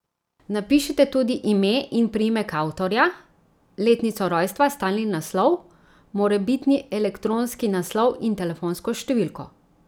Napišite tudi ime in priimek avtorja, letnico rojstva, stalni naslov, morebitni elektronski naslov in telefonsko številko.